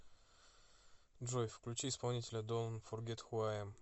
джой включи исполнителя донт фогет ху ай эм